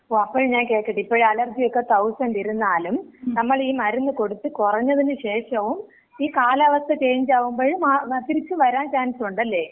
ഓ, അപ്പഴ് ഞാൻ കേക്കട്ട്, ഇപ്പൊ അലർജിയൊക്കെ തൗസന്‍റ് ഇരുന്നാലും നമ്മള് ഈ മരുന്ന് കൊടുത്ത് കുറഞ്ഞതിന് ശേഷവും, ഈ കാലാവസ്ഥ ചേഞ്ച് ആവുമ്പഴ് തിരിച്ച് വരാൻ ചാൻസ് ഉണ്ടല്ലേ?